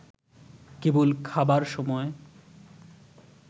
কেবল খাবার সময়